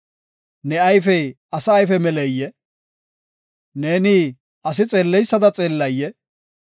Ne ayfey asa ayfe meleyee? neeni asi xeelleysada xeellayee?